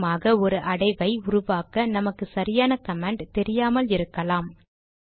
உதாரணமாக ஒரு அடைவை உருவாக்க நமக்கு சரியான கமாண்ட் தெரியாமல் இருக்கலாம்